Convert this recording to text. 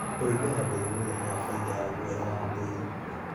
ũrĩithia wa mbũri nĩurehaga baida ya gũoya wa mbũri